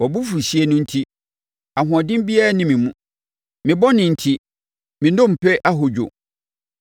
Wʼabofuhyeɛ no enti, ahoɔden biara nni me mu; me bɔne enti, me nnompe ahodwo.